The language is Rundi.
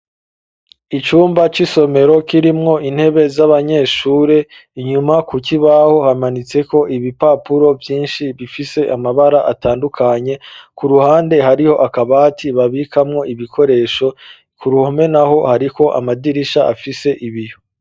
Icumba c'isomero kirimwo intebe z'abanyeshure inyuma ku koibaho hamanitseko ibipapuro vyinshi bifise amabara atandukanye ku ruhande hariho akabati babikamwo ibikoresho ku ruhome na ho hariko amadirisha afise ibiho.